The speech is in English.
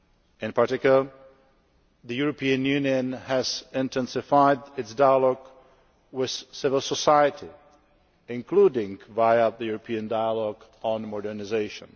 In particular, the European Union has intensified its dialogue with civil society, including via the European dialogue on modernisation.